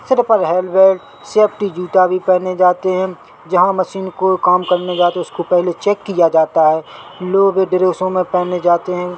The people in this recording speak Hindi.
सिर पर हेलमेट सेफ्टी जूता भी पहने जाते है जहाँ मशीन को काम करने जाते है उसको पहले चेक किया जाता है लोग पहने जाते है।